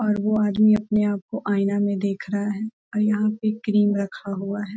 और वो आदमी अपने-आप को आईना में देख रहा है आर यहां पे क्रीम रखा हुआ है।